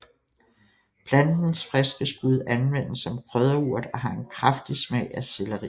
Plantens friske skud anvendes som krydderurt og har en kraftig smag af selleri